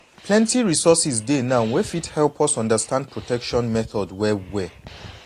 plenty resources dey now wey fit help us understand protection methods well well